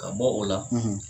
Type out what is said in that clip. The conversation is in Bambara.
Ka bɔ o la